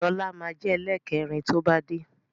Lọ́la máa jẹ ẹlẹ́kẹrin to bá dé